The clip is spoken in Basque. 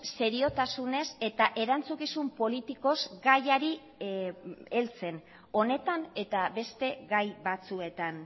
seriotasunez eta erantzukizun politikoz gaiari heltzen honetan eta beste gai batzuetan